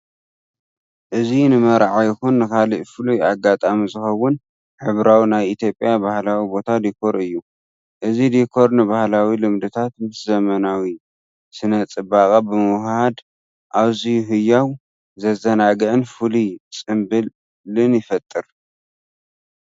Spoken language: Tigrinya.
እዚ ንመርዓ ይኹን ንኻልእ ፍሉይ ኣጋጣሚ ዝኸውን ሕብራዊ ናይ ኢትዮጵያ ባህላዊ ቦታ ዲኮር እዩ። እዚ ዲኮር ንባህላዊ ልምድታት ምስ ዘመናዊ ስነ-ጽባቐ ብምውህሃድ ኣዝዩ ህያው፡ ዘዘናግዕን ፍሉይን ጽምብል ይፈጥር።